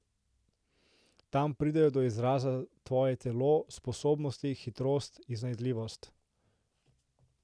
Tam pridejo do izraza tvoje telo, sposobnosti, hitrost, iznajdljivost ...